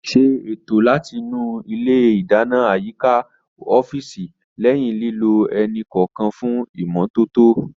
Ṣé ètò láti nu ilé ìdáná àyíká ọ́fíìsì lẹ́yìn lílò ẹni kọ̀ọ̀kan fún ìmọ́tótó